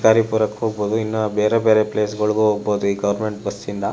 ಶಿಕಾರಿಪುರಕ್ಕೆ ಹೋಗಬಹುದು ಇನ್ನು ಬೇರೆ ಬೇರೆ ಪ್ಲೇಸ್ ಗಳಿಗೂ ಹೋಗಬಹುದು ಈ ಗವರ್ನಮೆಂಟ್ ಬಸ್ ನಿಂದ.